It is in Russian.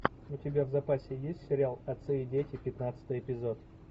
у тебя в запасе есть сериал отцы и дети пятнадцатый эпизод